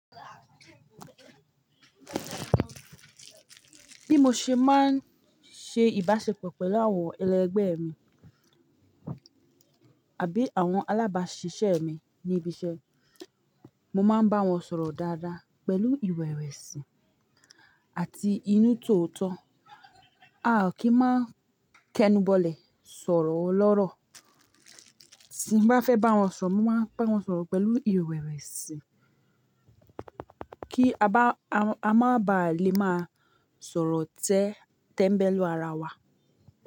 Bí mo ṣe máa ń ṣe ìbáṣepọ̀ pẹ̀lú àwọn ẹlẹgbẹ́ mi àbí àwọn alábáṣiṣẹ́ mi ní ibi iṣẹ́, mo máa ń bá wọn sọ̀rọ̀ dáadáa pẹ̀lú ìrẹ̀wẹ̀sì àti inú tòótọ́. A kí máa ń kẹnu bọlẹ̀ sọ̀rọ̀ ọlọ́rọ̀. Tí n bá fẹ́ bá wọn sọ̀rọ̀, mo máa ń bá wọn sọ̀rọ̀ pẹ̀lú ìrẹ̀wẹ̀sì kí a má ba à lè máa sọ̀rọ̀ tẹ́ńbẹ́lú ara wa.